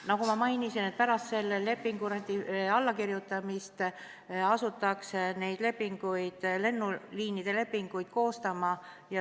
Nagu ma mainisin, pärast selle lepingu allakirjutamist asutakse lennuliinide lepinguid koostama.